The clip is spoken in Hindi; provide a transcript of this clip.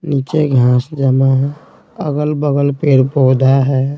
नीचे घास जमा है अगल-बगल पेड़-पौधा है।